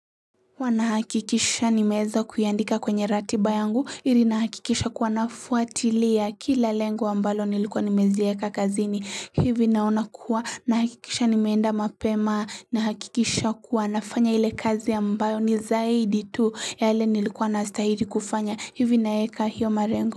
Huwa nahakikisha nimeeza kuyaandika kwenye ratiba yangu ili nahakikisha kuwa nafuatilia kila lengo ambalo nilikuwa nimezieka kazini hivi naona kuwa nahakikisha nimeenda mapema nahakikisha kuwa nafanya ile kazi ambayo ni zaidi tu ya yale nilikuwa nastahili kufanya hivi naeka hiyo malengo.